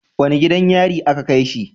Wani gidan yari a ka kaishi?